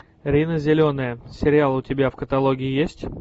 рина зеленая сериал у тебя в каталоге есть